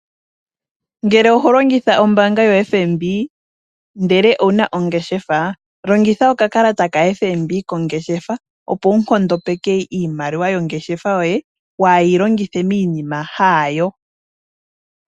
Ngele oho longitha ombaanga yoFNB ndele owuna ongeshefa, longitha okakalata ka FNB kongeshefa, opo wu nkondopeke iimaliwa yongeshefa yoye, waahe yi longithe miinima haayo.